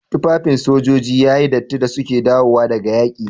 Tufafin sojoji yayi datti da suka dawo daga yaƙi.